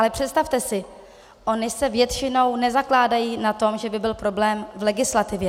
Ale představte si, ony se většinou nezakládají na tom, že by byl problém v legislativě.